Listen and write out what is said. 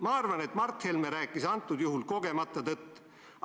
Ma arvan, et Mart Helme rääkis sel konkreetsel juhul kogemata tõtt.